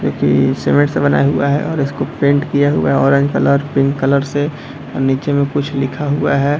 जो की सीमेंट सा बना हुआ है और उसको पेंट किया हुआ है ऑरेंज कलर पिंक कलर से और नीचे में कुछ लिखा हुआ है।